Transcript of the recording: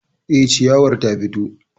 Eh, shiyawar ta fito